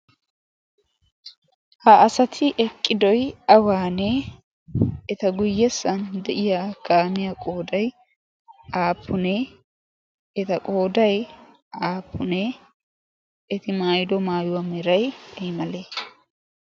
ha asati eqqidoy awaanee eta guyyessan de'iya gaamiya qooday aapunee? eta qoodai aafunee eti maayido maayuwaa meray ay male?